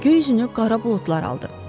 Göy üzünü qara buludlar aldı.